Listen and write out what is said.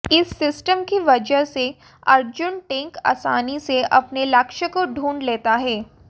इस सिस्टम की वजह से अर्जुन टैंक आसानी से अपने लक्ष्य को ढूंढ लेता है